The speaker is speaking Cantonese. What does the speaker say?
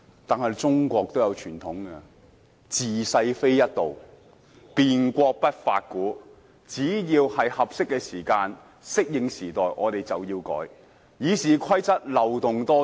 所謂"治世不一道，便國不法古"，只要是合適的時間，我們便要改變，以適應時代。